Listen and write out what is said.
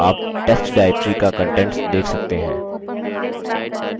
आप test directory का contents देख सकते हैं